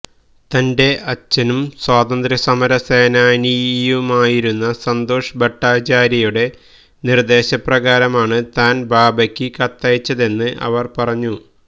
തന്റെ അച്ഛനും സ്വാതന്ത്ര്യസമര സേനാനിയുമായിരുന്ന സന്തോഷ് ഭട്ടാചാര്യയുടെ നിര്ദ്ദേശപ്രകാരമാണ് താന് ബാബയ്ക്ക് കത്തയച്ചതെന്ന് അവര്പറഞ്ഞു